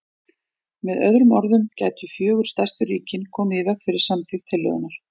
Með öðrum orðum gætu fjögur stærstu ríkin komið í veg fyrir samþykkt tillögunnar.